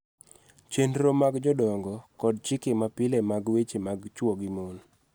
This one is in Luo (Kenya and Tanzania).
Chenro mag jodongo kod chike mapile mag weche mag chwo gi mon